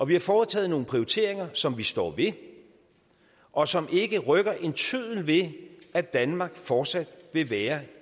vi har foretaget nogle prioriteringer som vi står ved og som ikke rykker en tøddel ved at danmark fortsat vil være